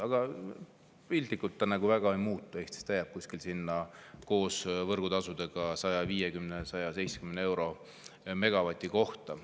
Aga piltlikult nagu väga ei muutu Eestis, see jääb koos võrgutasudega sinna 150 ja 170 euro kanti megavati kohta.